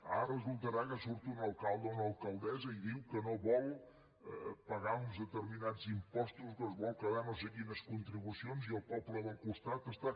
ara resultarà que surt un alcalde o una alcaldessa i diu que no vol pagar uns determinats impostos que es vol quedar no sé quines contribucions i el poble del costat està